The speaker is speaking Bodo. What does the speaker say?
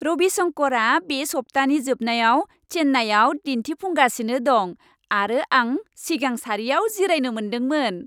रवि शंकरआ बे सप्तानि जोबनायाव चेन्नाईआव दिन्थिफुंगासिनो दं आरो आं सिगां सारियाव जिरायनो मोनदोंमोन!